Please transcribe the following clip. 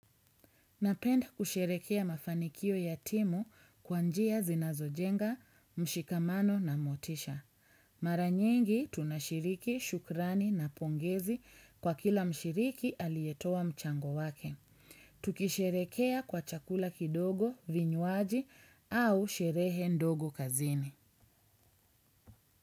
Napenda kusherekea mafanikio ya timu kwa njia zinazojenga, mshikamano na motisha. Mara nyingi tunashiriki, shukrani na pongezi kwa kila mshiriki aliyetoa mchango wake. Tukisherekea kwa chakula kidogo, vinywaji au sherehe ndogo kazini.